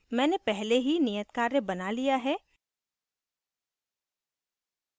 मैंने पहले ही नियतकार्य बना दिया है